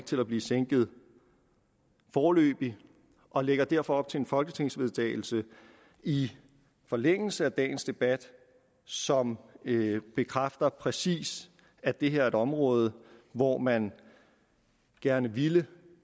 til at blive sænket foreløbig og lægger derfor op til en folketingsvedtagelse i forlængelse af dagens debat som bekræfter præcis at det her er et område hvor man gerne ville